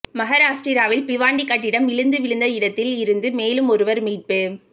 மகாராஷ்டிராவில் பிவாண்டி கட்டிடம் இடிந்து விழுந்த இடத்தில் இருந்து மேலும் ஒருவர் மீட்பு